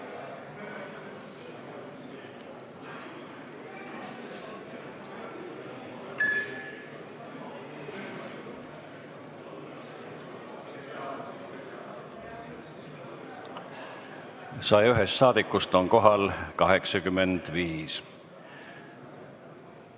Kohaloleku kontroll 101 rahvasaadikust on kohal 85.